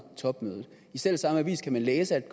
topmødet i selv samme avis kan man læse at